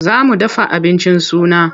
Za mu dafa abincin suna.